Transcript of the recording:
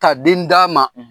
Ka den d'a ma